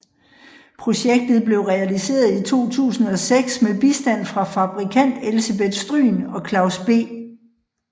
Projektet blev realiseret i 2006 med bistand fra fabrikant Elsebeth Stryhn og Claus B